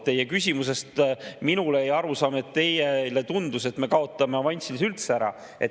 Teie küsimusest minule jäi arusaam, et teile tundus, et me kaotame avansilise üldse ära.